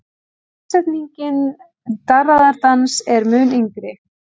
Samsetningin darraðardans er mun yngri.